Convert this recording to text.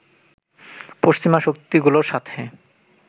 পশ্চিমা শক্তিগুলোর সাথে